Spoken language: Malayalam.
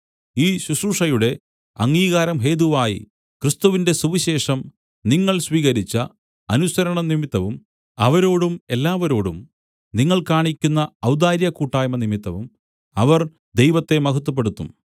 ഈ ശുശ്രൂഷയുടെ അംഗീകാരം ഹേതുവായി ക്രിസ്തുവിന്റെ സുവിശേഷം നിങ്ങൾ സ്വീകരിച്ച അനുസരണം നിമിത്തവും അവരോടും എല്ലാവരോടും നിങ്ങൾ കാണിക്കുന്ന ഔദാര്യകൂട്ടായ്മ നിമിത്തവും അവർ ദൈവത്തെ മഹത്വപ്പെടുത്തും